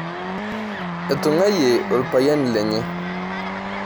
Etung'ayie orpayian lenye.